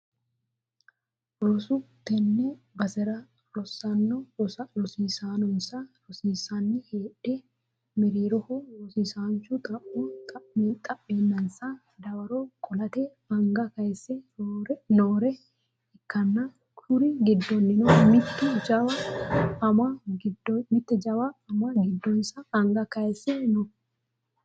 roso, tenne basera rosaano rosonsa rossanni heedhe mereeroho rosiisaanchu xa'mo xa'meennansa dawaro qolate anga kayiise noore ikkanna, kuriu giddoonnino mitte jawa ama giddonsa anga kayiise no.